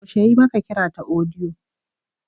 Yaushe ya yi maka kira ta audio?